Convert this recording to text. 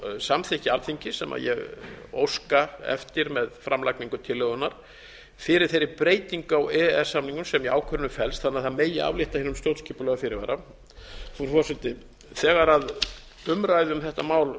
samþykki alþingis sem ég óska eftir með framlagningu tillögunnar fyrir þeirri breytingu á e e s samningnum sem í ákvörðuninni felst þannig að það megi aflétta hinum stjórnskipulega fyrirvara frú forseti þegar umræðu um þetta mál